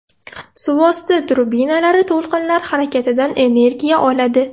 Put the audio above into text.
Suvosti trubinalari to‘lqinlar harakatidan energiya oladi.